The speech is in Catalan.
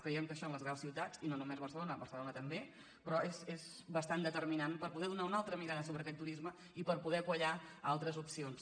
cre·iem que això en les grans ciutats i no només barce·lona barcelona també però és bastant determinant per poder donar una altra mirada sobre aquest turisme i per poder quallar altres opcions